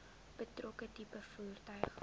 betrokke tipe voertuig